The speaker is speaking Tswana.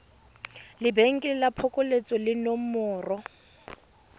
lebenkele la phokoletso le nomoro